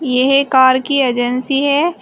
यह कार की एजेंसी है।